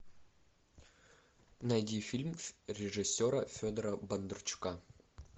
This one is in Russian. найди фильм режиссера федора бондарчука